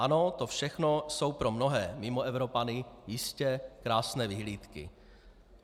Ano, to všechno jsou pro mnohé Mimoevropany jistě krásné vyhlídky.